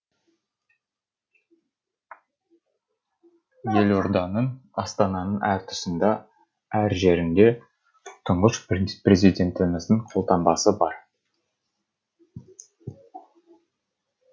елорданың астананың әр тұсында әр жерінде тұңғыш президентіміздің қолтаңбасы бар